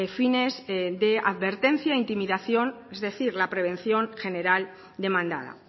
fines de advertencia intimidación es decir la prevención general demandada